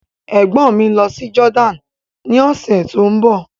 Ègbọ́n mi ń lọ sí Jordan ní ọ̀sẹ̀ tó ń bọ̀.